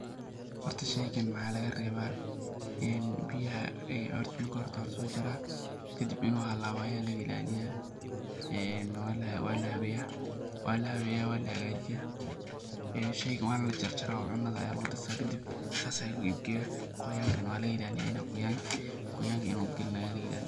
Horta sheygan waxaa laga reeba in biyaha, horta hore hort waa lasoo jaraa kadib inuu halaabo ayaa laga ilaaliyaa, waa lahabeeya, waa lahagajiyaa, sheygan waana lajarjaraa oo cunada ayaa lagu darsadaa, kadib saas ayaa lagu iib Geeta, qoyaankana waa laga ilaaliyaa qoyaankana inuu galin ayaa laga ilaaliyaa.